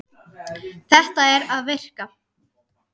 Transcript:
Þetta er að virka.